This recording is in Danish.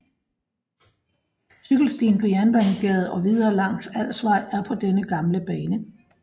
Cykelstien på Jernbanegade og videre langs Alsvej er på den gamle bane